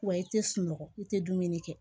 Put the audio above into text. Wa i tɛ sunɔgɔ i tɛ dumuni kɛ